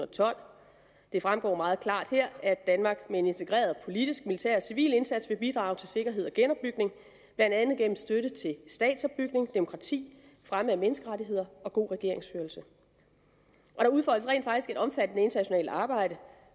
tolv det fremgår meget klart her at danmark med en integreret politisk militær og civil indsats vil bidrage til sikkerhed og genopbygning blandt andet gennem støtte til statsopbygning demokrati fremme af menneskerettigheder og god regeringsførelse der udfoldes rent faktisk et omfattende internationalt arbejde